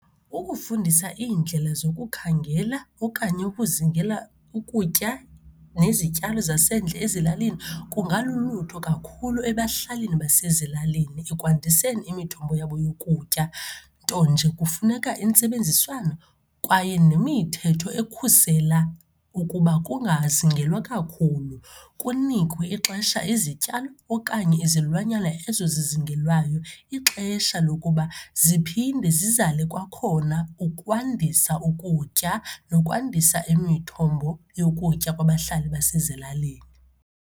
Ukufundisa iindlela zokukhangela okanye yokuzingela ukutya nezityalo zasendle ezilalini kungalulutho kakhulu ebahlalini basezilalini ekwandiseni imithombo yabo yokutya. Nto nje kufuneka intsebenziswano kwaye nemithetho ekhusela ukuba kungazingelwa kakhulu, kunikwe ixesha izityalo okanye izilwanyana ezo zizingelwayo ixesha lokuba ziphinde zizale kwakhona ukwandisa ukutya nokwandisa imithombo yokutya kwabahlali basezilalini.